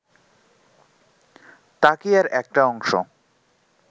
তাকিয়ার একটা অংশ